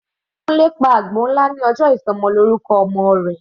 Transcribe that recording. Kunle pa àgbò nlá ní ọjọ́ ìsọmọlọ́rúkọ ọmọ rẹ̀.